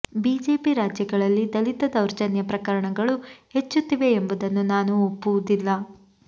BJP ರಾಜ್ಯಗಳಲ್ಲಿ ದಲಿತ ದೌರ್ಜನ್ಯ ಪ್ರಕರಣಗಳು ಹೆಚ್ಚುತ್ತಿವೆ ಎಂಬುದನ್ನು ನಾನು ಒಪ್ಪುವುದಿಲ್ಲ